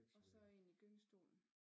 Og så én i gyngestolen